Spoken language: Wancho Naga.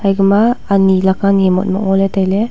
igma ani laka niye motmok ngola tailey.